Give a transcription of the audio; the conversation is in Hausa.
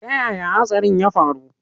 Ta yaya hatsarin ya faru?